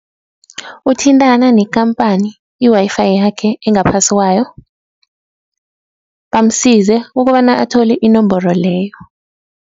Ukuthintana nekhampani i-Wi-Fi yakhe engaphasi kwayo, bamsize ukobana athole inomboro leyo.